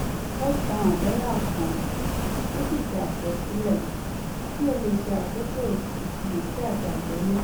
ó tan àbẹ́là kan ó sì ṣe àkọsílẹ̀ kí ó lè ṣe akókò ìfiyèsí àti àgbọ́yé